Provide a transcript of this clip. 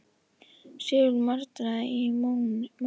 Sigurður maldaði í móinn